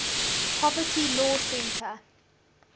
poverty law center